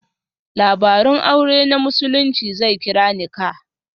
Labarun aure na Musulunci zai kira 'Nikah'.